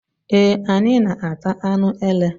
Eé, anyị na-ata anụ ele.